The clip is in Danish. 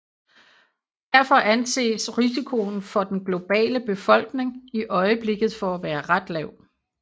Derfor anses risikoen for den globale befolkning i øjeblikket for at være ret lav